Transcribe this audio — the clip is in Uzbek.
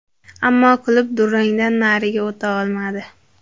Ammo klub durangdan nariga o‘ta olmadi.